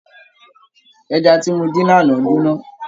Ẹja tí mo dín lánàá jóná.